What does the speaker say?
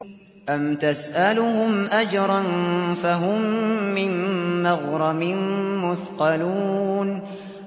أَمْ تَسْأَلُهُمْ أَجْرًا فَهُم مِّن مَّغْرَمٍ مُّثْقَلُونَ